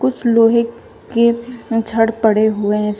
कुछ लोहे के छड़ पड़े हुए है सा--